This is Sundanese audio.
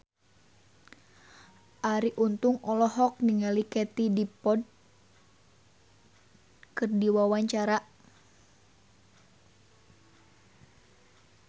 Arie Untung olohok ningali Katie Dippold keur diwawancara